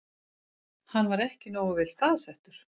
Hann var ekki nógu vel staðsettur